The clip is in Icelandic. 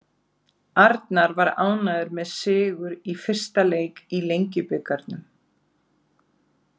Arnar var ánægður með sigur í fyrsta leik í Lengjubikarnum.